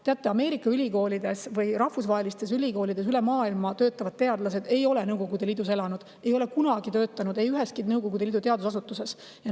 Teate, Ameerika ülikoolides või rahvusvahelistes ülikoolides üle maailma töötavad teadlased ei ole Nõukogude Liidus elanud, ei ole kunagi töötanud üheski Nõukogude Liidu teadusasutuses.